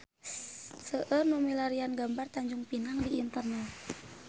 Seueur nu milarian gambar Tanjung Pinang di internet